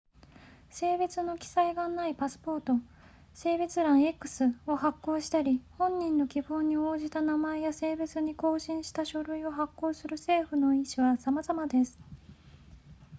性別の記載がないパスポート性別欄 x を発行したり本人の希望に応じた名前や性別に更新した書類を発行する政府の意思はさまざまです